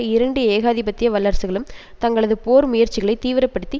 இரண்டு ஏகாதிபத்திய வல்லரசுகளும் தங்களது போர் முயற்சிகளை தீவிர படுத்தி